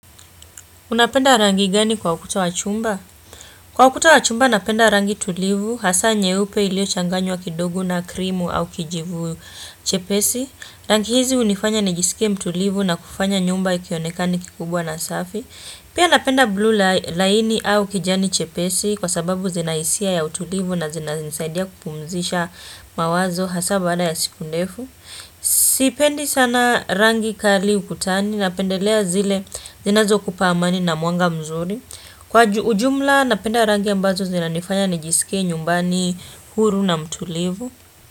Unapenda rangi gani kwa ukuta wa chumba? Kwa ukuta wa chumba napenda rangi tulivu, hasa nyeupe iliyo changanywa kidogo na krimu au kijivu chepesi. Rangi hizi unifanya nijisikia mtulivu na kufanya nyumba ikionekani kikubwa na safi. Pia napenda bluu laini au kijani chepesi kwa sababu zina hisia ya utulivu na zina zinisaidia kupumzisha mawazo hasa baada ya siku ndefu. Sipendi sana rangi kali ukutani Napendelea zile zinazo kupa amani na mwanga mzuri Kwa ujumla napenda rangi ambazo zinanifanya nijisikie nyumbani huru na mtulivu.